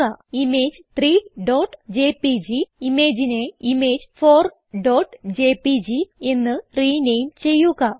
നമ്മൾ ഇൻസേർട്ട് ചെയ്തിട്ടുള്ള ഇമേജ് 3ജെപിജി ഇമേജിനെ image4ജെപിജി എന്ന് റിനേം ചെയ്യുക